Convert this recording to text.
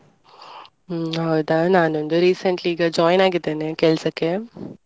ಹ್ಮ್ ಹೌದಾ ನಾನೊಂದು recently ಈಗ join ಆಗಿದ್ದೇನೆ ಕೆಲ್ಸಕ್ಕೆ.